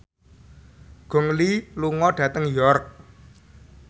Gong Li lunga dhateng York